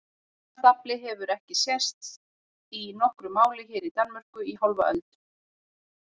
Svona stafli hefur ekki sést í nokkru máli hér í Danmörku í hálfa öld!